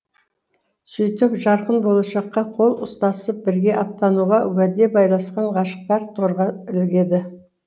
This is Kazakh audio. сөйтіп жарқын болашаққа қол ұстасып бірге аттануға уәде байласқан ғашықтар торға ілігеді